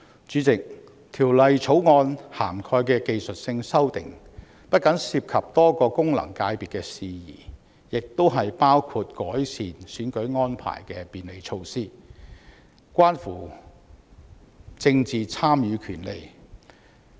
主席，《條例草案》涵蓋的技術性修訂不僅涉及多個功能界別的事宜，亦包括改善選舉安排的便利措施，關乎政治參與權利。